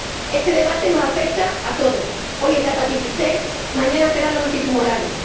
Este debate nos afecta a todos hoy es la hepatitis C, mañana serán los antitumorales.